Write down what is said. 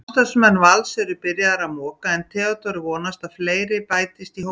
Starfsmenn Vals eru byrjaðir að moka en Theódór vonast að fleiri bætist í hópinn.